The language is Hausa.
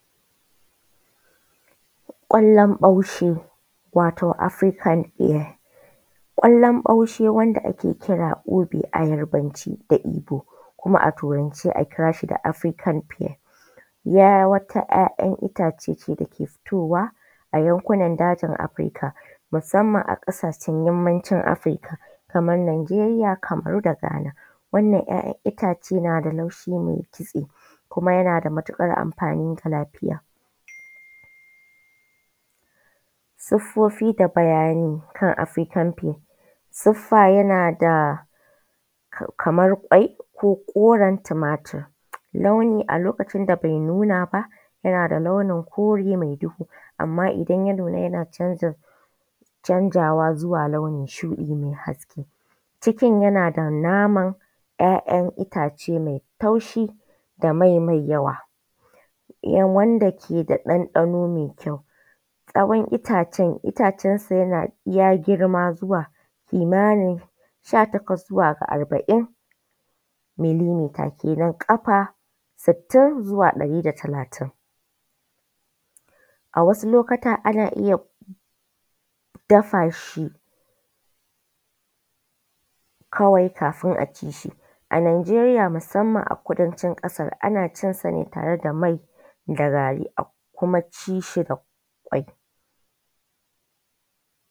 Kwallon ɓaushe wato African fair. Kwallon baushe wanda ake kira obio yarbance da igbo kuma a turance a kira shi da African fair. Wata 'ya'yan itace ne da yake fitowa a yankunan Afirika musamman a kasacen yammavin Afirika kamar Nijeriya, Kamaru da Ghana. Wannan 'ya'yan itace na da laushi mai kitse kuma yana da matuƙar amfani ga lafiya. Siffofi da bayani kan African fair. siffa yana da kamar kwai ko koren tumatur a lokacin da bai nuna ba yana da launin kore mai duhu idan ya nuna yana canzawa zuwa launin shuɗi mai haske, cikin yana da naman 'ya'yan itace mai taushi da mai.mai yawa. Wanda ke da ɗanɗano mai ƙyau, tsawon itacensa yana iya girma zuwa. Kimanin sha takwas zuwa ga arba'in millimetre kenan ƙafa sittin zuwa ɗari da talatin. A wssu lokutan ana iya dafa shi kawai kafin a ci shi,. A Nijeriya musamman a kudancin Kasar ana cinsa ne da mai a kum ci shi da kwai.